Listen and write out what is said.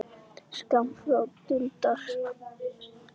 Skammt frá dundar